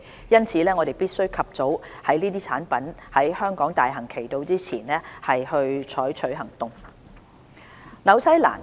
因此我們必須及早在這些產品在香港大行其道之前採取行動。